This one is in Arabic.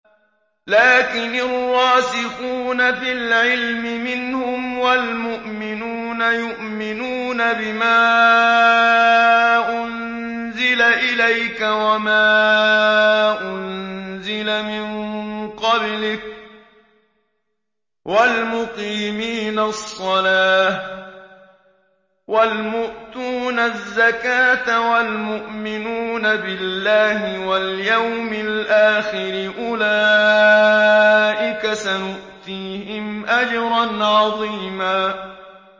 لَّٰكِنِ الرَّاسِخُونَ فِي الْعِلْمِ مِنْهُمْ وَالْمُؤْمِنُونَ يُؤْمِنُونَ بِمَا أُنزِلَ إِلَيْكَ وَمَا أُنزِلَ مِن قَبْلِكَ ۚ وَالْمُقِيمِينَ الصَّلَاةَ ۚ وَالْمُؤْتُونَ الزَّكَاةَ وَالْمُؤْمِنُونَ بِاللَّهِ وَالْيَوْمِ الْآخِرِ أُولَٰئِكَ سَنُؤْتِيهِمْ أَجْرًا عَظِيمًا